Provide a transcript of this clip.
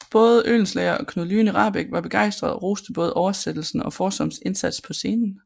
Både Oehlenschläger og Knud Lyne Rahbek var begejstrede og roste både oversættelsen og Foersoms indsats på scenen